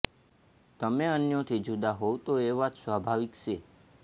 તમે અન્યોથી જુદા હોવ તો એ વાત સ્વાભાવિક છે